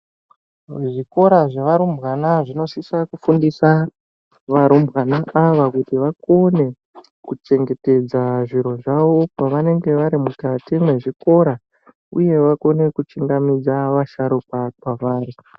Muzvikora zvevarumbwana zvinosisa kufundisa varumbwana ava kuti vakone kuchengetedza zviro zvawo pavanenge vari mukati mwezvikora uyewo vakone kuchingamidza vasharukwa pavari.